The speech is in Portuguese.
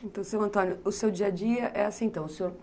Então, seu Antônio, o seu dia-a-dia é assim então?